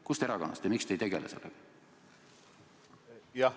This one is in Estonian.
Kust erakonnast nad olid ja miks te ei tegele sellega?